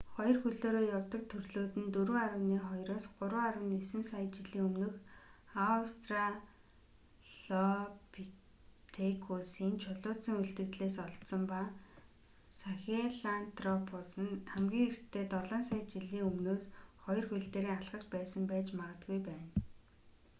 хоёр хөлөөрөө явдаг төрлүүд нь 4.2-3.9 сая жилийн өмнөх аустралопитекусын чулуужсан үлдэгдлээс олдсон ба харин сахелантропус нь хамгийн эртдээ долоон сая жилийн өмнөөс хоёр хөл дээрээ алхаж байсан байж магадгүй байна